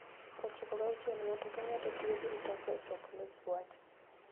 96 Ng'ato ka ng'ato tiyo gi mtokne e chopo ne ji wach.